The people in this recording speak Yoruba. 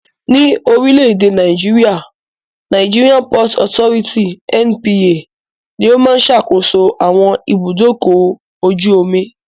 Ní orílẹ̀-èdè Nàìjéríà, Nigeria Port Authority (NPA) ní ó máa ń sàkóso àwọn ibùdókọ̀-ojú-omi.